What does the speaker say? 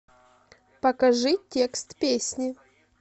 покажи текст песни